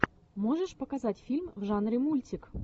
можешь показать фильм в жанре мультик